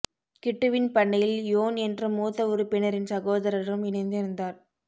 கிட்டுவின் பண்ணையில் யோன் என்ற மூத்த உறுப்பினரின் சகோதரரும் இணைந்திருந்தார்